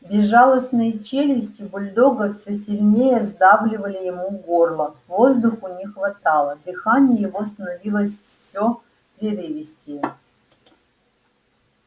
безжалостные челюсти бульдога всё сильнее сдавливали ему горло воздуху не хватало дыхание его становилось всё прерывистее